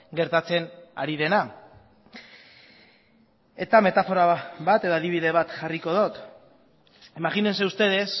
gertatzen ari dena eta metafora bat edo adibide bat jarriko dut imagínense ustedes